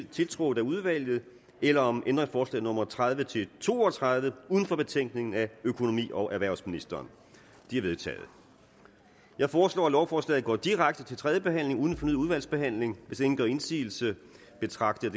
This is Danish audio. tiltrådt af udvalget eller om ændringsforslag nummer tredive til to og tredive uden for betænkningen af økonomi og erhvervsministeren de er vedtaget jeg foreslår at lovforslaget går direkte til tredje behandling uden fornyet udvalgsbehandling hvis ingen gør indsigelse betragter